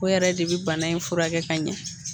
O yɛrɛ de bɛ bana in fura kɛ ka ɲɛ.